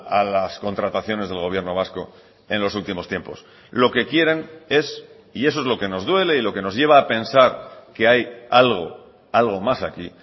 a las contrataciones del gobierno vasco en los últimos tiempos lo que quieren es y eso es lo que nos duele y lo que nos lleva a pensar que hay algo algo más aquí